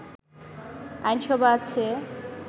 আইনসভা আছে